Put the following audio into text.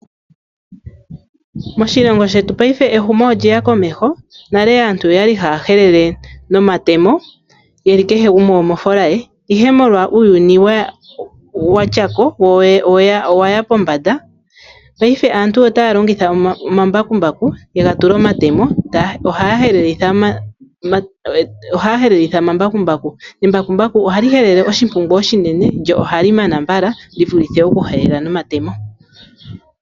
Moshilongo shetu paife ehomo olili komeho nale aantu oyali haya helele nomatemo yeli kehe gumwe omo foola ye ihe molwa uuyuni wa ya pombanda paife aantu otaa longitha omambakumbaku yega tula omatemo, ohaya helelelitha omambaku nembakumbaku ohaga pulula taga endelele lyo phali helele oshinenga oshinene shi vulithe okulesha mokaleshwa.